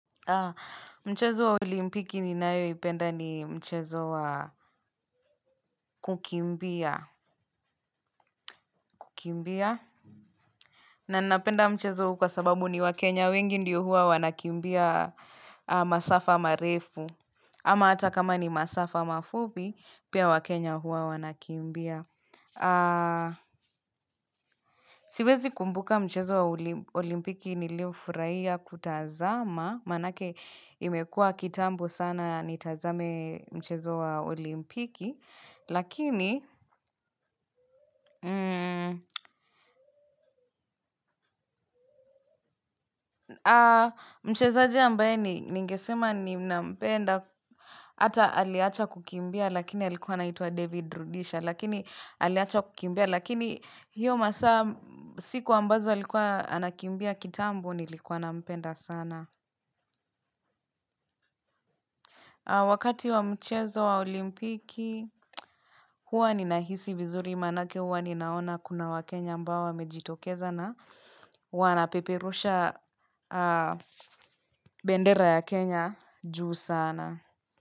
Mchezo wa olimpiki ninayoipenda ni mchezo wa kukimbia. Na napenda mchezo huu kwa sababu ni wa Kenya wengi ndiyo huwa wanakimbia masafa marefu. Ama hata kama ni masafa mafupi, pia waKenya huwa wanakimbia. Siwezi kumbuka mchezo wa olimpiki niliofurahia kutazama. Maanake imekua kitambo sana nitazame mchezo wa olimpiki. Lakini, mchezaji ambaye ningesema ninampenda. Hata aliacha kukimbia, lakini alikuwa anaitwa David Rudisha. Lakini aliacha kukimbia, lakini hiyo masaa siku ambazo alikuwa anakimbia kitambo, nilikuwa nampenda sana. Wakati wa mchezo wa olimpiki, huwa ninahisi vizuri maanake huwa ninaona kuna waKenya ambao wamejitokeza na wanapeperusha bendera ya Kenya juu sana.